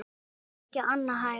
Það er ekki annað hægt.